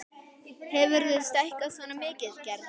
Hefurðu stækkað svona mikið, Gerður?